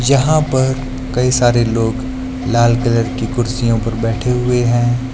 जहां पर कई सारे लोग लाल कलर की कुर्सियों पर बैठे हुए हैं।